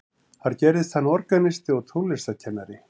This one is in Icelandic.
þar gerðist hann organisti og tónlistarkennari